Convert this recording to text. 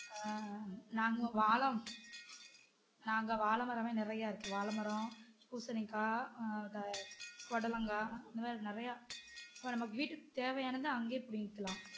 அஹ் நாங்க வாழை நாங்க வாழைமரம் லா நிறைய இருக்கு வாழைமரம், பூசணிக்காய் அஹ் வேற பொடலங்கா இந்த மாதிரி நிறையா இப்போ நம்ம வீட்டுக்கு தேவையானது அங்கே புடிங்கிக்கலாம்